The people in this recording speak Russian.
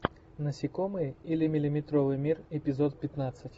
насекомые или миллиметровый мир эпизод пятнадцать